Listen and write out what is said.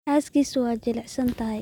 Xaaskiisu waa jilicsan tahay